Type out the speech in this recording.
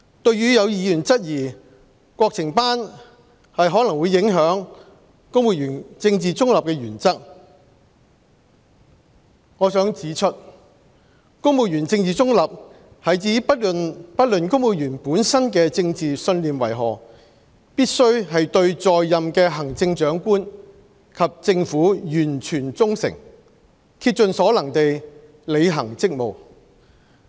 對於有議員質疑國情班可能會影響公務員政治中立的原則，我想指出，公務員政治中立是指不論公務員本身的政治信念為何，必須對在任的行政長官及政府完全忠誠，竭盡所能地履行職務。